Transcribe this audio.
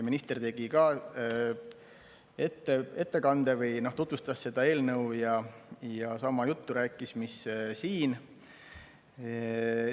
Minister tegi ka ettekande, tutvustas seda eelnõu ja rääkis sama juttu, mis siin.